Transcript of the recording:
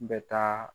N bɛ taa